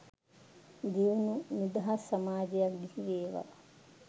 දියුණු නිදහස් සමාජයක් බිහිවේවා